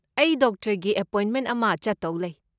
ꯑꯩ ꯗꯣꯛꯇꯔꯒꯤ ꯑꯦꯄꯣꯏꯟꯃꯦꯟ ꯑꯃ ꯆꯠꯇꯧ ꯂꯩ꯫